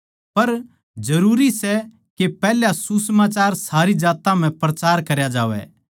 पर जरूरी सै के पैहल्या सुसमाचार सारी जात्तां म्ह प्रचार करया जावै